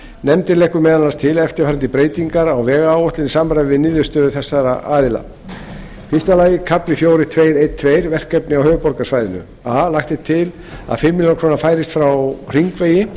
nefndin leggur meðal annars til eftirfarandi breytingar á vegáætlun í samræmi við niðurstöður þessara aðila fyrsti kafli fjórar tvær tólf verkefni á höfuðborgarsvæði a lagt er til að fimm milljónir króna færist frá hringvegi